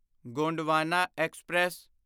Gondwana express